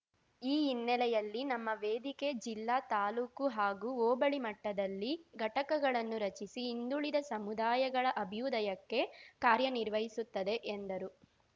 ಈ ಹಿನ್ನೆಲೆಯಲ್ಲಿ ನಮ್ಮ ವೇದಿಕೆ ಜಿಲ್ಲಾ ತಾಲೂಕು ಹಾಗೂ ಹೋಬಳಿ ಮಟ್ಟದಲ್ಲಿ ಘಟಕಗಳನ್ನು ರಚಿಸಿ ಹಿಂದುಳಿದ ಸಮುದಾಯಗಳ ಅಭ್ಯುದಯಕ್ಕೆ ಕಾರ್ಯನಿರ್ವಹಿಸುತ್ತದೆ ಎಂದರು